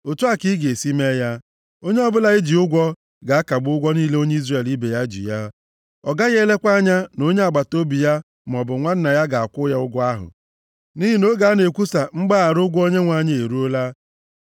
Otu a ka a ga-esi mee ya: Onye ọbụla e ji ụgwọ ga-akagbu ụgwọ niile onye Izrel ibe ya ji ya. Ọ gaghị elekwa anya na onye agbataobi ya maọbụ nwanna ya ga-akwụ ya ụgwọ ahụ, nʼihi na oge a na-ekwusa mgbaghara ụgwọ Onyenwe anyị eruola.